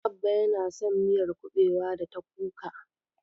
Abba yana son miyar kuɓewa da ta kuka.